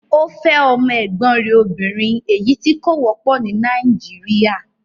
Ọ fẹ̀ ọmọ ẹ̀gbọ̀n rè òbìnrin ẹ̀yí tì kò wọ̀pọ̀ ní Naijiria.